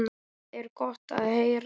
Það er gott að heyra.